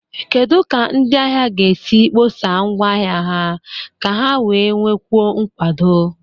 Kedu ka ndị ahịa ga-esi akpọsa ngwa ahịa ha ka ha wee nwekwuo nkwado?